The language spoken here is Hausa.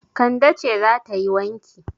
Kande ce za ta yi wanki.